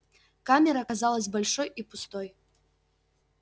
камера казалась большой и пустой